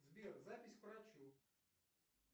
сбер запись к врачу